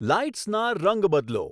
લાઈટ્સના રંગ બદલો